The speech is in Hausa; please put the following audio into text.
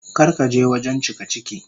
Kar ka je wajen cikaciki.